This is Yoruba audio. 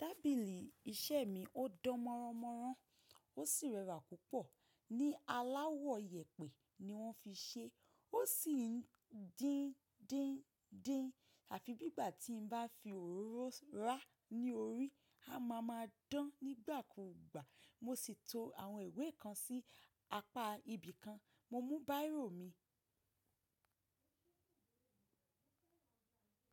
Tábìlì iṣẹ́ mi ó dán mọ́ra mọ́ra, ó sì rẹwà púpọ̀. Ní aláwọ̀ ìyèpẹ̀ ni wọ́n fi ṣe. Ó sì ń dín dín dín, àfi bí ìgbà tí n bá fi òróró ra ní orí, a ma ma dán nígbà kúgbà. Mo sì to àwọn ìwé kan sí apá ibi kan. Mo mú bírò mi.